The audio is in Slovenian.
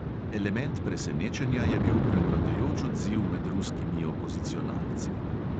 Element presenečenja je bil prevladujoč odziv med ruskimi opozicionalci.